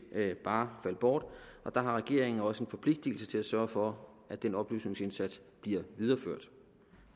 ikke bare falde bort og der har regeringen også en forpligtelse til at sørge for at den oplysningsindsats bliver videreført